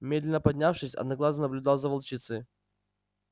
медленно поднявшись одноглазый наблюдал за волчицей